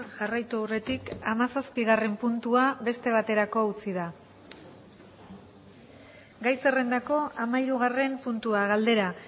jarraitu aurretik hamazazpigarren puntua beste baterako utzi da gai zerrendako hamahirugarren puntua galdera